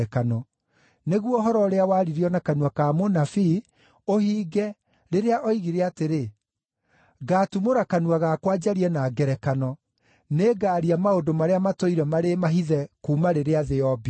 Nĩguo ũhoro ũrĩa waaririo na kanua ka mũnabii ũhinge rĩrĩa oigire atĩrĩ: “Ngaatumũra kanua gakwa njarie na ngerekano, nĩngaaria maũndũ marĩa matũire marĩ mahithe kuuma rĩrĩa thĩ yombirwo.”